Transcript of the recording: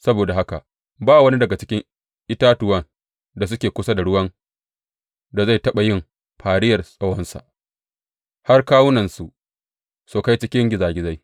Saboda haka ba wani daga cikin itatuwan da suke kusa da ruwan da zai taɓa yin fariyar tsawonsa, har kawunansu su kai cikin gizagizai.